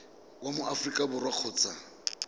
wa mo aforika borwa kgotsa